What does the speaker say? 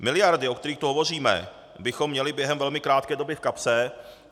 Miliardy, o kterých tu hovoříme, bychom měli během velmi krátké doby v kapse.